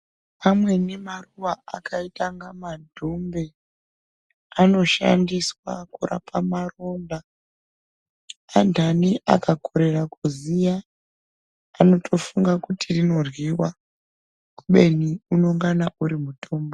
Amweni maruva akaita kunga madhumbe anoshandiswa kurapa maronda andani akakorera kuziva anotofunga kuti rinorhliwa kubeni unenge uri mutombo.